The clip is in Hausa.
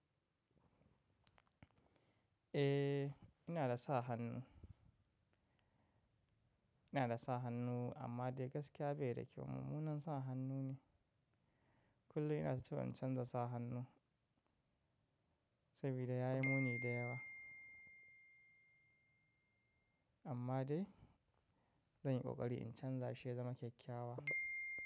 Eh, ina da sa hannu. Ina da sa hannu amma dai gaskiya bai da kyau. Mummunan sa hannu ne. Kullum ina so in canza sa hannun sabida ya yi muni da yawa. Amma dai zan yi ƙoƙari in canza shi ya zama kyakkyawa.